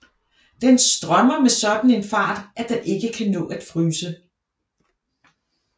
Den strømmer med en sådan fart at den ikke kan nå at fryse